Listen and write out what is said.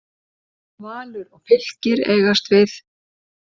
Valur og Fylkir eigast við.